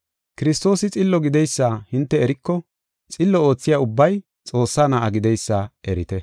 Kiristoosi xillo gideysa hinte eriko xillo oothiya ubbay Xoossaa na7a gideysa erite.